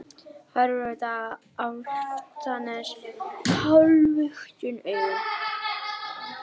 Horfir út á Álftanes hálfluktum augum.